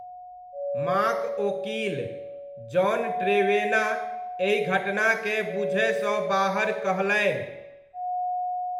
माँक ओकील, John Trevena, एहि घटनाकेँ 'बूझयसँ बाहर' कहलनि।